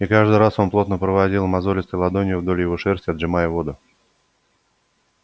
и каждый раз он плотно проводил мозолистой ладонью вдоль его шерсти отжимая воду